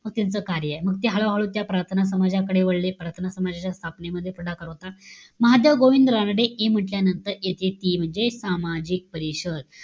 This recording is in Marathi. मग त्यांचं कार्यय. मग ते हळूहळू त्या प्रार्थना समाजाकडे वळले. प्रार्थना समाजाच्या स्थापनेमध्ये पुढाकार होता. महादेव गोविंद रानडे हे म्हण्टल्यानंतर येते ती म्हणजे सामाजिक परिषद.